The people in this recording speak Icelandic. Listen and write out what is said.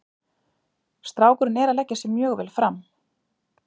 Strákurinn er að leggja sig mjög vel fram.